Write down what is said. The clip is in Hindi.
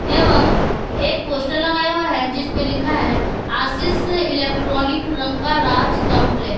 एवं एक पोस्टर लगाया हुआ है जिस पर लिखा है आशीष इलेक्ट्रॉनिक्स रांकराज कंपलेक्स ।